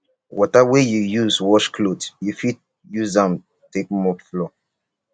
water wey yu use wash cloth yu fit use am take mop floor